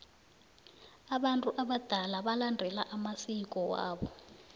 abantu abadala balandela amsiko wabo